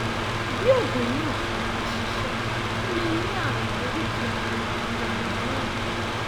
bí oògùn náà kò bá ṣiṣẹ o lè ní ààrùn oríkèé ara ara mìíràn